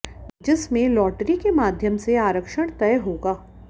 जिसमें लॉटरी के माध्यम से आरक्षण तय होगा